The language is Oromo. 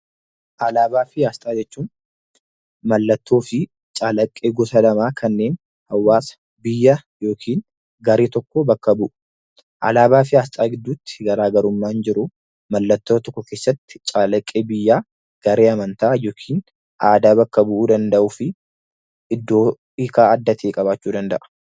Alaabaa fi asxaa jechuun mallattoo fi calaqqee gosa lamaa kanneen hawaasa, biyya yookiin garee tokko bakka bu'u. Alaabaa fi asxaa gidduutti garaa garummaan jiru mallattoo tokko keessatti calaqqee biyyaa , garee amantaa yookiin aadaa bakka bu'uu danda'uu fi iddoo hiikaa adda ta'e qabaachuu danda'a.